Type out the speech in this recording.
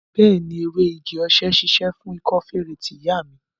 Bẹẹni, ewé igi-osè ṣíṣe fún ikọ́ feré tí ìyá mi ni